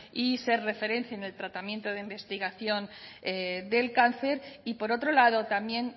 y ser referente en el tratamiento de investigación del cáncer y por otro lado también